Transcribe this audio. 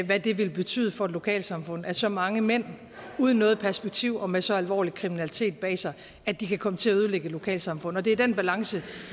hvad det vil betyde for et lokalsamfund og at så mange mænd uden noget perspektiv og med så alvorlig kriminalitet bag sig kan komme til at ødelægge et lokalsamfund og det er den balance